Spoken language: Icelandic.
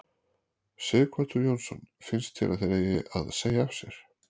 Sighvatur Jónsson: Finnst þér að þeir eigi að segja af sér?